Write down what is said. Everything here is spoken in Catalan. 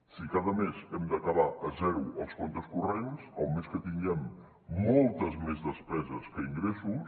si cada mes hem d’acabar a zero els comptes corrents el mes que tinguem moltes més despeses que ingressos